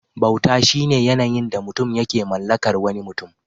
Bauta shine yanayin da mutum yake mallakar wani mutum.